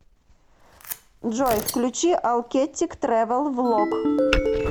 джой включи алкеттик трэвэл влог